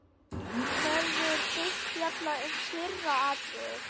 Verður fyrst fjallað um fyrra atriðið.